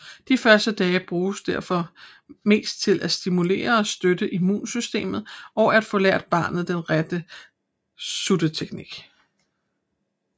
De første dage bruges derfor mest til at stimulere og støtte immunsystemet og at få lært barnet den rigtige sutteteknik